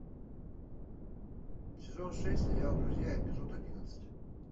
сезон шесть сериал друзья эпизод одиннадцать